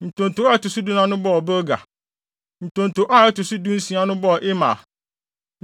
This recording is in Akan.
Ntonto a ɛto so dunum no bɔɔ Bilga. Ntonto a ɛto so dunsia no bɔɔ Imer.